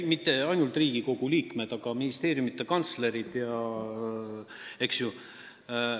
Ei, mitte ainult Riigikogu liikmed, vaid ministeeriumide kantslerid ja teised ka.